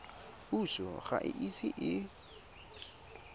puso ga e ise e